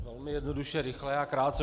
Velmi jednoduše, rychle a krátce.